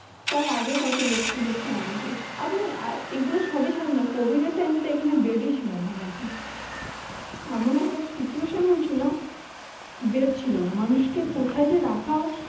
তার আগে কত লক্ষ লক্ষ মানুষ আছে। আপনি আহ এগুলো সবি জানেন না, covid time bed ছিলনা নাকি? এমন একটা situation হয়েছিল bed ছিল না। মানুষকে কোথায় যে রাখা হবে?